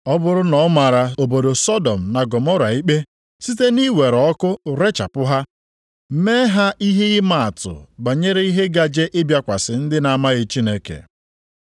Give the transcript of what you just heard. Ọ bụrụ na ọ mara obodo Sọdọm na Gọmọra ikpe site nʼiwere ọkụ rechapụ ha, mee ha ihe ịmaatụ banyere ihe gaje ịbịakwasị ndị na-amaghị Chineke;